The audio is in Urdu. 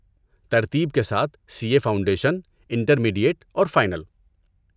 ترتیب کے ساتھ سی اے فاؤنڈیشن، انٹرمیڈیٹ اور فائنل۔